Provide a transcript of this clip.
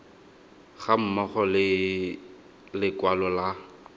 ga mmogo le lekwalo la